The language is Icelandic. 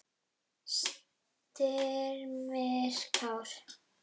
Styrmir Kári.